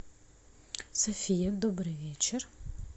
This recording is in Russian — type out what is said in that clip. софия добрый вечер